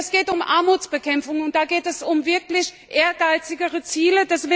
Es geht um die Armutsbekämpfung, und da geht es um wirklich ehrgeizigere Ziele.